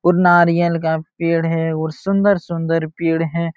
और नारियल का पेड़ है और सुंदर-सुंदर पेड़ हैं।